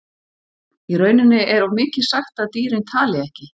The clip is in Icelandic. Í rauninni er of mikið sagt að dýrin tali ekki.